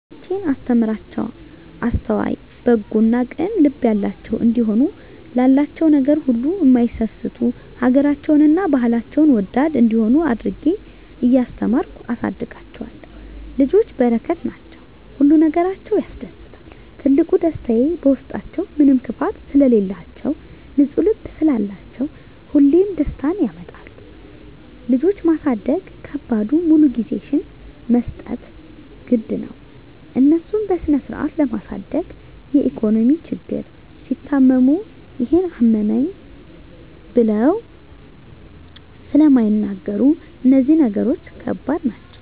ልጆቼን እማስተምራቸዉ አስተዋይ፣ በጎ እና ቅን ልብ ያላቸዉ እንዲሆኑ፣ ላላቸዉ ነገር ሁሉ እማይሳስቱ፣ ሀገራቸዉን እና ባህላቸዉን ወዳድ እንዲሆነ አድርጌ እያስተማርኩ አሳድጋቸዋለሁ። ልጆች በረከት ናቸዉ። ሁሉ ነገራቸዉ ያስደስታል ትልቁ ደስታየ በዉስጣችዉ ምንም ክፋት ስለላቸዉ፣ ንፁ ልብ ስላላቸዉ ሁሌም ደስታን ያመጣሉ። ልጆች ማሳደግ ከባዱ ሙሉ ጊዜሽን መስጠት ግድ ነዉ፣ እነሱን በስነስርአት ለማሳደግ የኢኮኖሚ ችግር፣ ሲታመሙ ይሄን አመመኝ ብለዉ ስለማይናገሩ እነዚህ ነገሮች ከባድ ናቸዉ።